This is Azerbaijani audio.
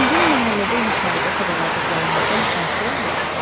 Sizin məhəllədə yuxarıda sadaladıqlarımızdan hansılar var?